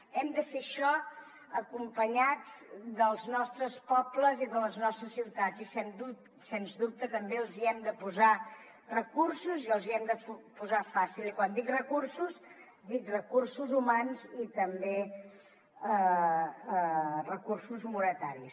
hem de fer això acompanyats dels nostres pobles i de les nostres ciutats i sens dubte també els hem de posar recursos i els hi hem de posar fàcil i quan dic recursos dic recursos humans i també recursos monetaris